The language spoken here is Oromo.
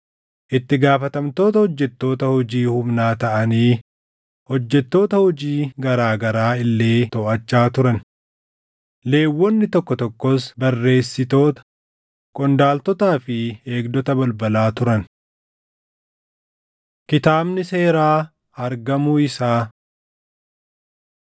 itti gaafatamtoota hojjettoota hojii humnaa taʼanii hojjettoota hojii garaa garaa illee toʼachaa turan. Lewwonni tokko tokkos barreessitoota, qondaaltotaa fi eegdota balbalaa turan. Kitaabni Seeraa Argamuu Isaa 34:14‑28 kwf – 2Mt 22:8‑20 34:29‑32 kwf – 2Mt 23:1‑3